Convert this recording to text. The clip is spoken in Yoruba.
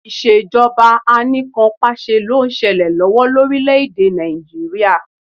Ìṣèjọba Anìkanpàṣẹ ló ń ṣẹlẹ̀ lọ́wọ́ lórílẹ̀ èdè Nàìjíríà